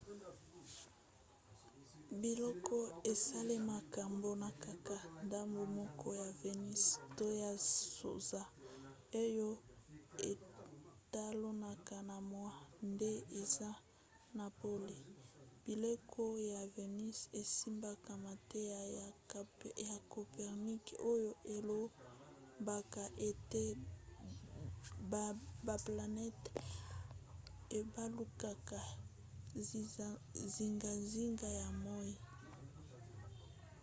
bileko esalemaka mpona kaka ndambu moko ya vénus to ya sanza oyo etalanaka na moi nde eza na pole. bileko ya vénus esimbaka mateya ya copernic oyo elobaka ete baplanete ebalukaka zingazinga ya moi